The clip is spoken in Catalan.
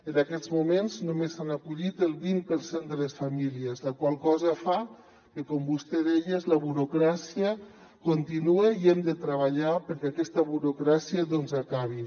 en aquests moments només s’hi han acollit el vint per cent de les famílies la qual cosa fa que com vostè deia la burocràcia continua i hem de treballar perquè aquesta burocràcia acabi